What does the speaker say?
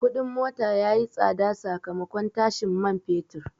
Kudin mota ya yi tsada sakamakon tashin man fetur.